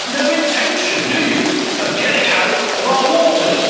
You have no intention, do you, of getting out of our waters?